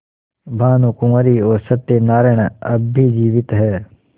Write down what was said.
भानुकुँवरि और सत्य नारायण अब भी जीवित हैं